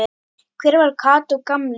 Hver var Kató gamli?